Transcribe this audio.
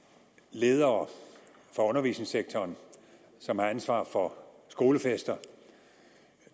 ledere fra undervisningssektoren som har ansvar for skolefester